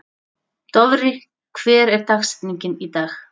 Dofri, hver er dagsetningin í dag?